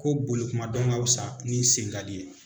Ko bolikuma dɔn ka fisa ni sen n ka di ye.